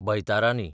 बयतारानी